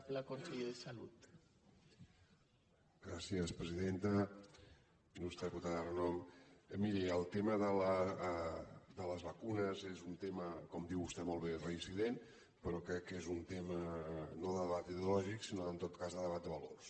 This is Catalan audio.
il·lustre diputada renom miri el tema de les vacunes és un tema com diu vostè molt bé reincident però crec que és un tema no de debat ideològic sinó en tot cas de debat de valors